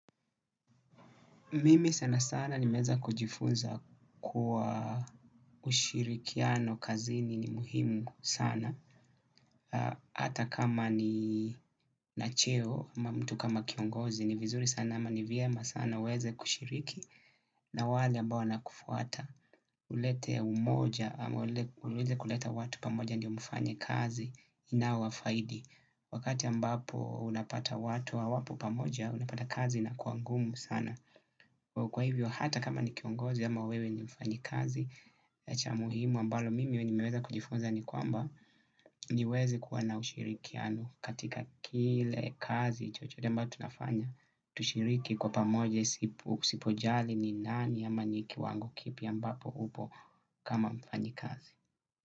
Mimi sana sana nimeweza kujifunza kuwa ushirikiano kazini ni muhimu sana. Hata kama nina cheo, ama mtu kama kiongozi ni vizuri sana ama ni vyema sana uweze kushiriki na wale ambao wanakufuata. Ulete umoja, ulete kuleta watu pamoja ndio mfanye kazi inaowafaidi. Wakati ambapo unapata watu hawapo pamoja, unapata kazi inakua ngumu sana. Kwa hivyo hata kama ni kiongozi ama wewe ni mfanyikazi cha muhimu ambalo mimi nimeweza kujifunza ni kwamba niweze kuwa na ushirikiano katika kile kazi chochote ambao tunafanya. Tushiriki kwa pamoja sipojali ni nani ama ni kiwango kipi ambapo upo kama mfanyikazi.